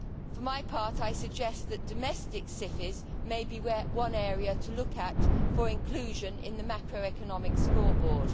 For my part, I suggest that domestic SIFIs may be one area to look at for inclusion in the macroeconomic scoreboard.